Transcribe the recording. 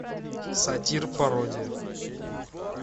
сатир пародия